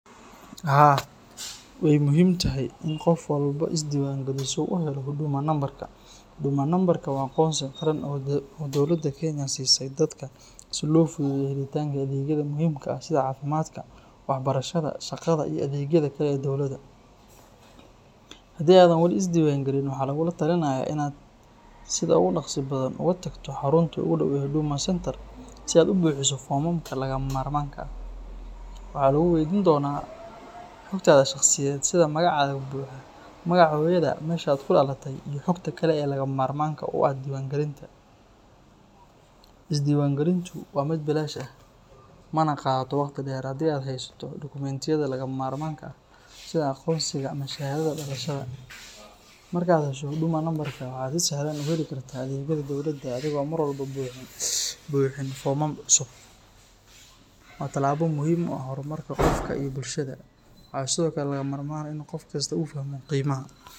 Haa, way muhiim tahay in qof walba isdiiwaangeliyo si uu u helo Huduma Nambarka. Huduma Nambarka waa aqoonsi qaran oo dowladda Kenya ay siisay dadka si loo fududeeyo helitaanka adeegyada muhiimka ah sida caafimaadka, waxbarashada, shaqada, iyo adeegyada kale ee dowladda. Haddii aadan weli isdiiwaangelin, waxaa lagugula talinayaa inaad sida ugu dhakhsaha badan u tagto xarunta ugu dhow ee Huduma Centre si aad u buuxiso foomamka lagama maarmaanka ah. Waxaa lagu weydiin doonaa xogtaada shakhsiyeed sida magacaaga buuxa, magaca hooyadaa, meesha aad ku dhalatay, iyo xogta kale ee lagama maarmaanka u ah diiwaangelinta. Isdiiwaangelintu waa mid bilaash ah, mana qaadato waqti dheer haddii aad haysato dukumeentiyada lagama maarmaanka ah sida aqoonsigaaga ama shahaadada dhalashada. Marka aad hesho Huduma Nambarkaaga, waxaad si sahlan u heli kartaa adeegyada dowladda adigoo aan mar walba buuxin foomam cusub. Waa tallaabo muhiim u ah horumarka qofka iyo bulshadaba. Waxaa sidoo kale lagama maarmaan ah in qof kastaa uu fahmo qiimaha.